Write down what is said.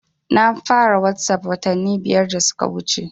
Na fara wasap watanni biyar da suka wuce